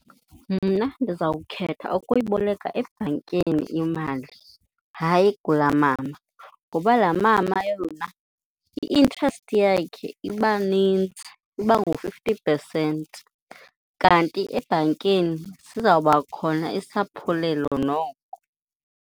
Mna ndiza kukhetha ukuyiboleka ebhankini imali, hayi kulaa mama. Ngoba laa mama yona i-interest yakhe iba nintsi, iba ngu-fifty percent kanti ebhankini sizawuba khona isaphulelo noko.